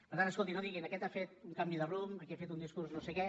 per tant escolti no diguin aquest ha fet un canvi de rumb aquí ha fet un discurs no sé què